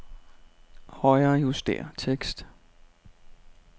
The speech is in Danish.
Højrejuster tekst.